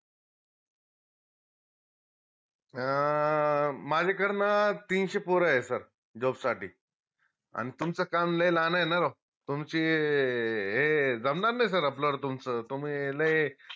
अं माझ्याकर ना तीनशे पोर आहेत sir job साठी अन तुमचं काम लय लाहान आहे न राव तुमची हे जमणार नाई sir आपलं न तुमचं तुम्ही लय